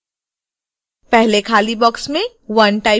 पहले खाली बॉक्स में 1 टाइप करें